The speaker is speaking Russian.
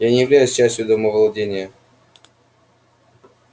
я не являюсь частью домовладения